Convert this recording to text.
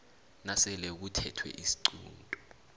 nasele kuthethwe isiqunto